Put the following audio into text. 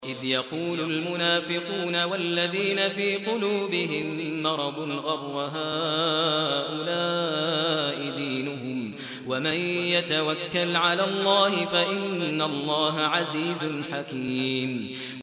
إِذْ يَقُولُ الْمُنَافِقُونَ وَالَّذِينَ فِي قُلُوبِهِم مَّرَضٌ غَرَّ هَٰؤُلَاءِ دِينُهُمْ ۗ وَمَن يَتَوَكَّلْ عَلَى اللَّهِ فَإِنَّ اللَّهَ عَزِيزٌ حَكِيمٌ